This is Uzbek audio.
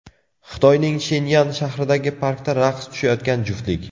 Xitoyning Shenyan shahridagi parkda raqs tushayotgan juftlik.